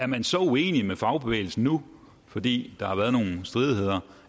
man så uenig med fagbevægelsen nu fordi der har været nogle stridigheder